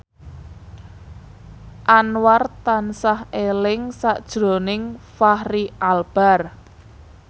Anwar tansah eling sakjroning Fachri Albar